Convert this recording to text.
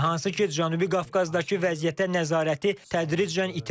Hansı ki, Cənubi Qafqazdakı vəziyyətə nəzarəti tədricən itirir.